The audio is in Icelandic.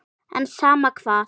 En sama hvað.